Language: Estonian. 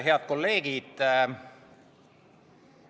Head kolleegid!